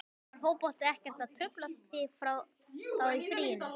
Var fótboltinn ekkert að trufla þig þá í fríinu?